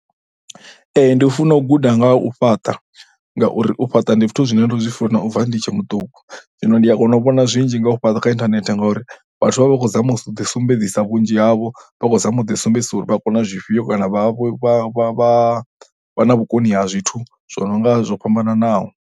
Ndi funa u guda nga ha u fhaṱa ngauri u fhaṱa ndi zwithu zwine ndo zwi funa u bva ndi tshe muṱuku zwino ndi a kona u vhona zwinzhi nga u fhaṱa kha internet ngauri vhathu vha vha khou zama u ḓisumbedzisa vhunzhi havho vha khou zama u sḓiumbedzisa uri vha kona zwifhio kana vha vha vha vha vha na vhukoni ha zwithu zwo no nga zwo fhambananaho.